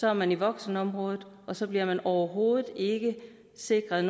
er man i voksenområdet og så bliver man overhovedet ikke sikret